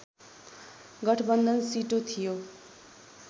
गठबन्धन सिटो थियो